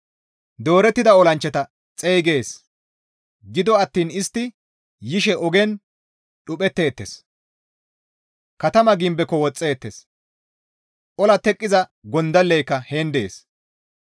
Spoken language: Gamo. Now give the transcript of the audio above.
Doorettida olanchchata xeygees; gido attiin istti yishe ogen dhuphetteettes; katamaa gimbeko woxeettes; ola teqqiza gondalleyka heen dees.